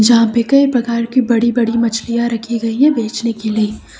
यहां पे कई प्रकार की बड़ी बड़ी मछलियां रखी गई है बेचने के लिए।